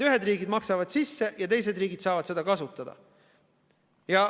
Ühed riigid maksavad sisse ja teised riigid saavad seda kasutada.